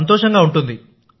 సంతోషంగా ఉంటుంది